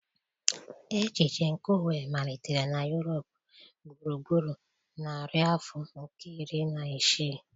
Echiche nke uwe malitere na Europe gburugburu narị afọ nke iri na isii.